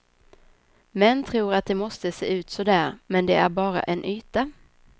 Män tror att de måste se ut så där, men det är bara en yta.